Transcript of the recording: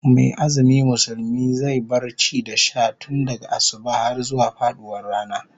Mai azumi Musulmi zai bar ci da sha tun daga asubah har zuwa faduwar rana